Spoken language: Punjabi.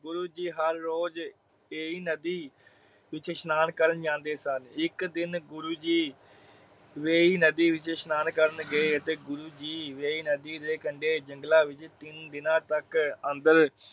ਗੁਰੂ ਜੀ ਹਰ ਰੋਜ ਏਹੀ ਨਦੀ ਵਿਚ ਇਸਨਾਨ ਕਰਨ ਜਾਂਦੇ ਸਨ। ਇਕ ਦਿਨ ਗੁਰੂ ਜੀ ਏਹੀ ਨਦੀ ਵਿਚ ਸ਼ਨਾਨ ਕਰਨ ਗਏ ਤੇ ਗੁਰੂ ਜੀ ਏਹੀ ਨਦੀ ਦੇ ਕੰਡੇ ਜੰਗਲਾਂ ਵਿਚ ਤਿੰਨ ਦਿਨਾਂ ਤਕ ਅੰਦਰ